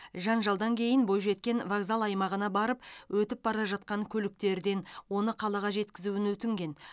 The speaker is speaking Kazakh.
жанжалдан кейін бойжеткен вокзал аймағына барып өтіп бара жатқан көліктерден оны қалаға жеткізуін өтінген